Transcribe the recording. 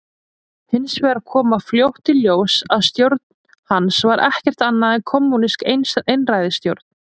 Hins vegar kom fljótt í ljós að stjórn hans var ekkert annað en kommúnísk einræðisstjórn.